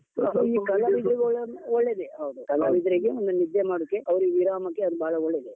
ಈ ಕಲಾವಿದ್ರಿಗೆಲ್ಲಾ ಒಳ್ಳೇದೆ, ಕಲಾವಿದ್ರಿಗೆ ಒಂದು ನಿದ್ದೆ ಮಾಡೋಕ್ಕೆ ಅವರಿಗೆ ವಿರಾಮಕ್ಕೆ ಅದು ಬಹಳ ಒಳ್ಳೆದೆ.